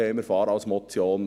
Wir fahren als Motion.